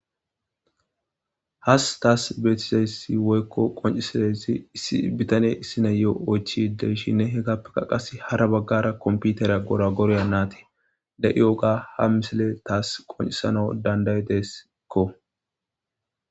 has taas betizaysi woykko qoncisadaysi ibitane issi na'iyo oychi de'ishinne hegapeka qase hara baggara komputera gora gorya naati de'yoga ha misile taas qoncisana dandayideesekko